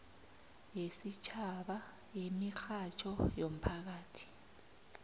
yesitjhaba yemirhatjho yomphakathi